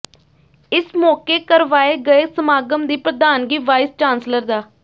ਇਸ ਮੌਕੇ ਕਰਵਾਏ ਗਏ ਸਮਾਗਮ ਦੀ ਪ੍ਰਧਾਨਗੀ ਵਾਈਸ ਚਾਂਸਲਰ ਡਾ